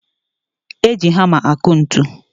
Eji hama akụ ntụ